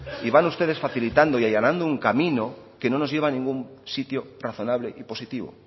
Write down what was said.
y van ustedes facilitando y allanando un camino que no nos lleva a ningún sitio razonable y positivo